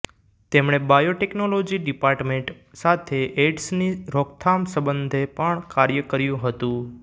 તેમણે biotechnology department સાથે એઇડ્સની રોકથામ સંબંધે પણ કાર્ય કર્યું હતું